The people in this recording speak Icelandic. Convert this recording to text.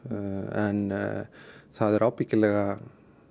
en það er ábyggilega